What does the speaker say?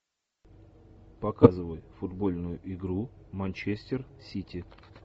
показывай футбольную игру манчестер сити